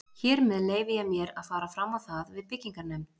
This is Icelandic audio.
Hér með leyfi ég mér, að fara fram á það við byggingarnefnd